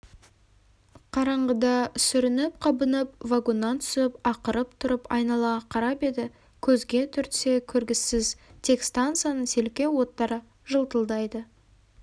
қараңғыда сүрініп-қабынып вагоннан түсіп ақырып тұрып айналаға қарап еді көзге түртсе көргісіз тек станцияның селкеу оттары жылтылдайды